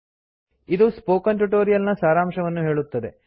ಇದು spoken tutorial ನ ಸಾರಾಂಶವನ್ನು ಹೇಳುತ್ತದೆ